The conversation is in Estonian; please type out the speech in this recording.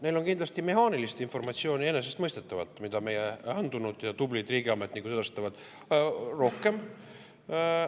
Neil on kindlasti enesestmõistetavalt mehaanilist informatsiooni, mida meie andunud ja tublid riigiametnikud edastavad, rohkem.